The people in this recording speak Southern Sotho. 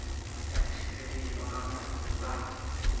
ba tjheseletswa ka matlung ba